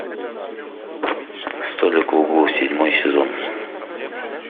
столик в углу седьмой сезон